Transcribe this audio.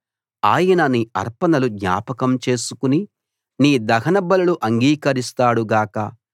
ఆయన నీ అర్పణలు జ్ఞాపకం చేసుకుని నీ దహన బలులు అంగీకరిస్తాడు గాక